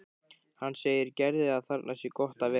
Hann segir Gerði að þarna sé gott að vera.